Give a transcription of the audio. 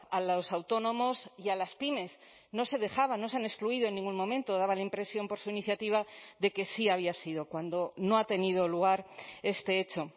a los autónomos y a las pymes no se dejaba no se han excluido en ningún momento daba la impresión por su iniciativa de que sí había sido cuando no ha tenido lugar este hecho